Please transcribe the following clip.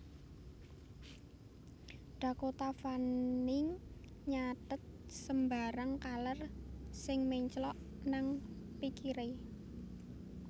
Dakota Fanning nyathet sembarang kaler sing menclok nang pikire